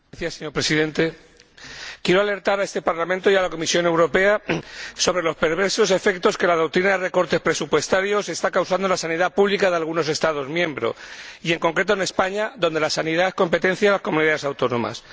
Señor Presidente, quiero alertar a este Parlamento y a la Comisión Europea sobre los perversos efectos que la doctrina de recortes presupuestarios está causando en la sanidad pública de algunos Estados miembros y, en concreto, en España, donde la sanidad es competencia de las Comunidades Autónomas.